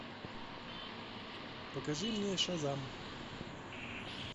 покажи мне шазам